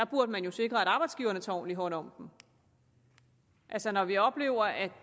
burde sikre at arbejdsgiverne tager ordentligt hånd om dem altså når vi oplever at